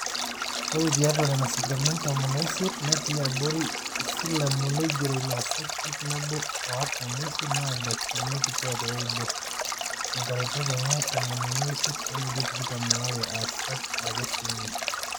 ore tiatua nena sipitalini tomon oisiet natii abori isilamu neigerro ilaasak ip nabo o artam oisiet aa ildakitarini kituaak ooudo, inkaretok enye tomoniuni oisiet onkulie tikitam aare aasak ake sininje